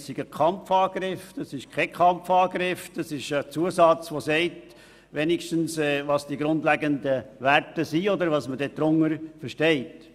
Es geht aus unserer Sicht jedoch nicht um einen Kampfbegriff, sondern um einen Zusatz, der sagt, welches unsere grundlegenden Werte sind und was man darunter versteht.